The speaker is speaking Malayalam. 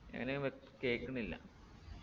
എങ്ങനെ വ്യ കേക്കുന്നില്ല